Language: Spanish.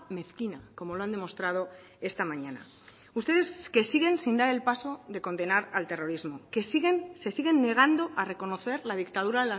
mezquina como lo han demostrado esta mañana ustedes que siguen sin dar el paso de condenar al terrorismo que siguen se siguen negando a reconocer la dictadura